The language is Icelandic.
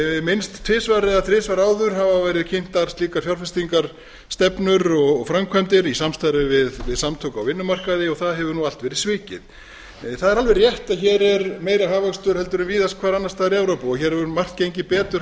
minnst tvisvar eða þrisvar áður hafa verið kynntar slíkar fjárfestingarstefnur og framkvæmdir í samstarfi við samtök á vinnumarkaði og það hefur allt verið svikið það er alveg rétt að hér er meiri hagvöxtur en víðast hvar annars staðar í evrópu og hér hefur margt gengið betur